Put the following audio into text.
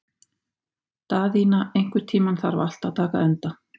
Daðína, einhvern tímann þarf allt að taka enda.